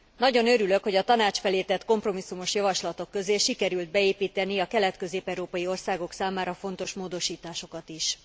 Nagyon örülök, hogy a Tanács felé tett kompromisszumos javaslatok közé sikerült beépíteni a kelet közép európai országok számára fontos módosításokat is.